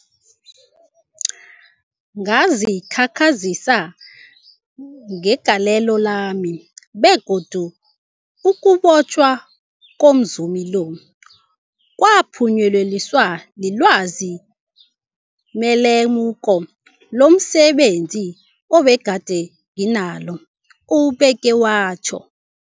Ngazikhakhazisa ngegalelo lami, begodu ukubotjhwa komzumi lo kwaphunyeleliswa lilwazi nelemuko lomse benzi ebegade nginalo, ubeke watjho.